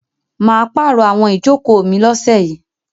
Mà á pàrọ̀ àwọn ìjókòó mi lọ́sẹ̀ yìí.